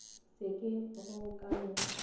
se ke go ka no